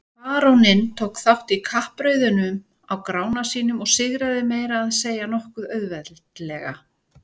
Baróninn tók þátt í kappreiðunum á Grána sínum og sigraði meira að segja nokkuð auðveldlega.